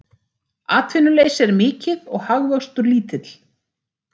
Atvinnuleysi er mikið og hagvöxtur lítill